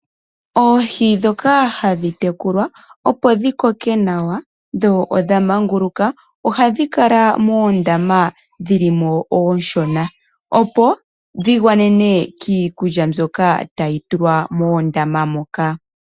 Oohi ndhoka hadhi tekulwa opo dhi koke nawa dho odha manguluka. Ohadhi kala moondama dhili mo ooshona. Opo dhigwanenwe kiikulya mbyoka tayi tulwa moondama moka.